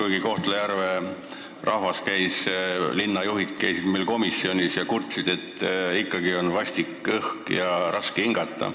Aga Kohtla-Järve linna juhid käisid meil komisjonis ja kurtsid, et ikkagi on õhk vastik, raske on hingata.